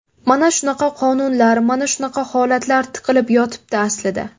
Mana shunaqa qonunlar, mana shunaqa holatlar tiqilib yotibdi aslida.